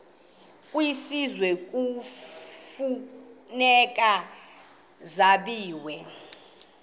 kwisizwe kufuneka zabiwe